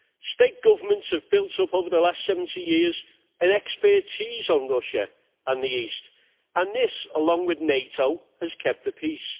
State governments have built up over the last 70 years an expertise on Russia and the East and this, along with NATO, has kept the peace.